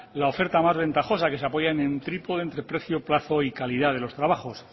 la oferta más ventajosa que se apoya en trípode entre precio plazo y calidad de los trabajos